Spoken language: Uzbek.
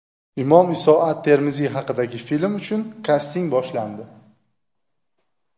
Imom Iso at-Termiziy haqidagi film uchun kasting boshlandi.